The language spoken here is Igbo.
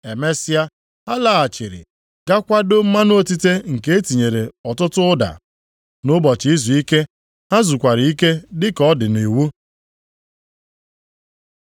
Emesịa ha laghachiri ga kwadoo mmanụ otite nke e tinyere ọtụtụ ụda. Nʼụbọchị izuike ha zukwara ike dịka ọ dị nʼiwu. + 23:56 \+xt Ọpụ 35:2\+xt* na \+xt Lev 23:3\+xt* nakwa \+xt Dit 5:14\+xt*